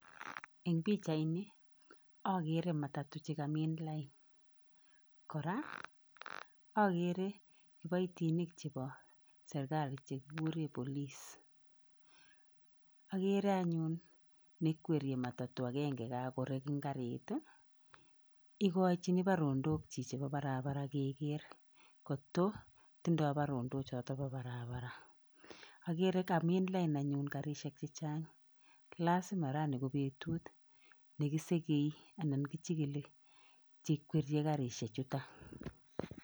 Eng pichaini akere matatu che kamin lain, kora akere kiboitinik chebo serikali che kikure police. Akere anyun ne kwerie matatu akenge kakorek eng garit ii, ikochini barondok chichi bo barabara keker koto tindoi barondok choto bo barabara, akere kamin lain anyun garishek che chang lazima rani ko betut ne kisegei anan kichikili che kwerie garishechuta.